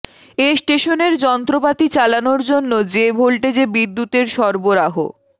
এ স্টেশনের যন্ত্রপাতি চালানোর জন্য যে ভোল্টেজে বিদ্যুতের সরবরাহ